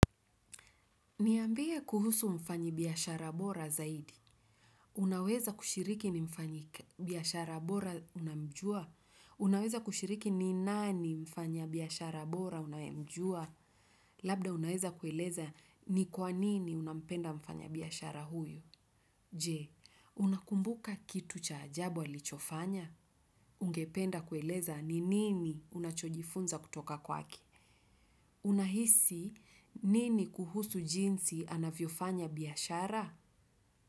Niambie kuhusu mfanyibiashara bora zaidi. Unaweza kushiriki ni mfanyibiashara bora unamjua? Unaweza kushiriki ni nani mfanyabiashara bora unamjua? Labda unaweza kueleza ni kwa nini unapenda mfanyabiashara huyu? Je, unakumbuka kitu cha ajabu alichofanya? Ungependa kueleza ni nini unachojifunza kutoka kwake? Unahisi nini kuhusu jinsi anavyofanya biashara?